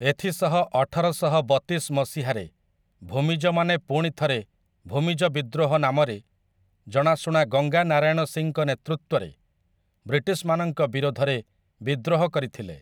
ଏଥିସହ ଅଠରଶହ ବତିଶ ମସିହାରେ ଭୂମିଜ ମାନେ ପୁଣି ଥରେ ଭୂମିଜ ବିଦ୍ରୋହ ନାମରେ ଜଣାଶୁଣା ଗଙ୍ଗା ନାରାୟଣ ସିଂଙ୍କ ନେତୃତ୍ୱରେ ବ୍ରିଟିଶମାନଙ୍କ ବିରୋଧରେ ବିଦ୍ରୋହ କରିଥିଲେ ।